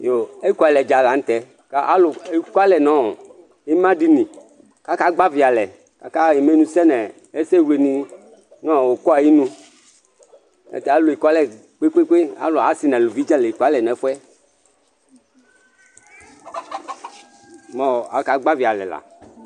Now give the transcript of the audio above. Ekʊalɛ dza la nʊtɛ Alʊ ekʊalɛ nʊ ɩmadinɩ Kaka gbavɩ alɛ Akaƴa ɩmenʊsɛ nesɛwlenɩ nʊ ʊkɔ ayɩnʊ Alʊ ekʊalɛ kpekpeekpe Alʊ ɔsɩ nʊlʊvɩ ekʊalɛ nefʊɛ, kʊ aka gbavɩ alɛ la